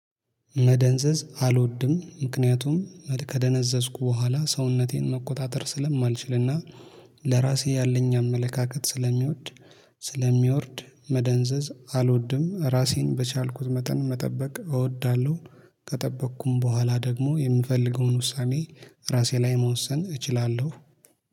መደንዘዝ አልወድም ምክንያቱም ከደነዘዝኩ በኋላ ሰውነቴን መቆጣጠር ስለማልችልና ለራሴ ያለኝ አመለካከት ስለሚወድ ስለሚወርድ መደንዘዝ አልወድም ራሴን በቻልኩት መጠን መጠበቅ እወዳለሁ። ከጠበቅኩም በኋላ ደግሞ የምፈልገውን ውሳኔ ራሴ ላይ መወሰን እችላለሁ